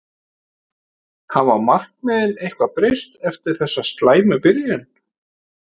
Hafa markmiðin eitthvað breyst eftir þessa slæmu byrjun?